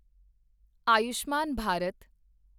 Ayushman Bharat